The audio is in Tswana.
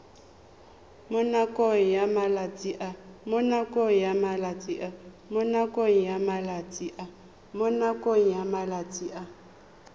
mo nakong ya malatsi a